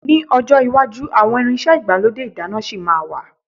Ní ọjọ́ iwájú àwọn irinṣẹ́ igbalode ìdáná ṣì ma wà.